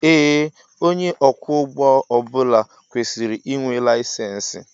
Ee onye ọkwọ ụgbọ ọbula kwesịrị ịnwe layisensi